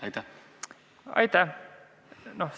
Aitäh!